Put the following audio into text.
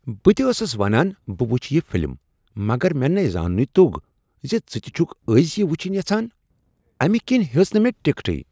بہٕ تہ ٲسٕس ونان بہٕ وٕچھ یہ فلم، مگر مےٚ نے زاننُے توٚگ زِ ژٕ تہ چھکھ أزۍ یہ وٕچھنۍ یژھان، امہ کنۍ ہیٔژٕٖ نہٕ مےٚ ٹکٹٕے۔